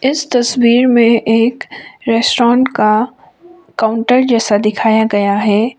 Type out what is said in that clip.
इस तस्वीर में एक रेस्टोन का काउंटर जैसा दिखाया गया है।